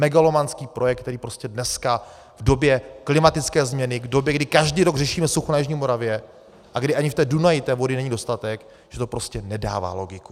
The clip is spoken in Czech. Megalomanský projekt, který prostě dneska, v době klimatické změny, v době, kdy každý rok řešíme sucho na jižní Moravě a kdy ani v tom Dunaji té vody není dostatek, že to prostě nedává logiku.